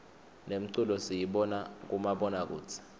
nemculo siyibona kumabona kudze